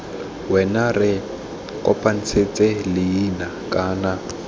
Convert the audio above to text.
wena re kopanetse leina kana